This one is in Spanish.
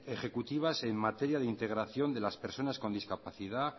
ejecutivas en materia de integración de las personas con discapacidad